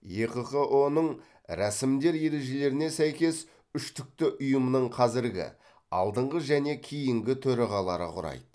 екқыұ ның рәсімдер ережелеріне сәйкес үштікті ұйымның қазіргі алдыңғы және кейінгі төрағалары құрайды